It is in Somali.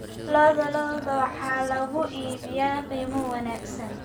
Lo'da lo'da waxaa lagu iibiyaa qiimo wanaagsan.